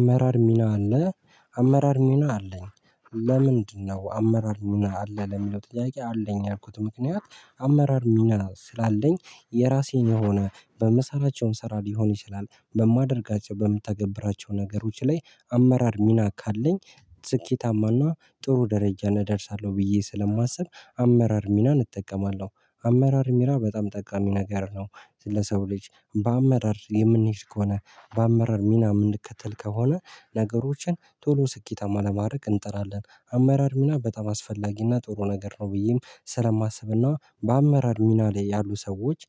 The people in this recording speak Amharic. አመራር ሚና አለ አመራር ሚና አለኝ ለምንድነው አመራር ሚና አለህ? ለሚለው ጥያቄ አለኝ ያልኩት ምክንያት አመራር ሚና ስላለኝ የራሴን የሆነ በምሰራቸውም ስራ ሊሆን ይችላል በማደርጋቸው በምትተገብራቸው ነገሮች ላይ አመራር ሚና ካለኝ ስኬታማና ጥሩ ደረጃ ላይ እደርሳለሁ ብዬ ስለማስብ አመራር ሚናን እጠቀማለሁ አመራር ሚና በጣም ጠቃሚ ነገር ነው ለሰው ልጅ በአመራር የምንሄድ ከሆነ በአመራር ሚና የምንከተል ከሆነ ነገሮችን ቶሎ ስኬታማ ለማድረግ እንጥራለን አመራር ሚና በጣም አስፈላጊና ጥሩ ነገር ነው ብዬም ስለማስብና በአመራር ሚና ላይ ያሉ ሰዎች